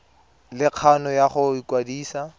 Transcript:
le kgano ya go ikwadisa